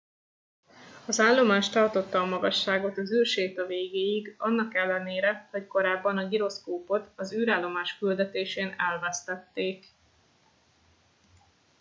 az állomás tartotta a magasságot az űrséta végéig annak ellenére hogy korábban a giroszkópot az űrállomás küldetésén elvesztették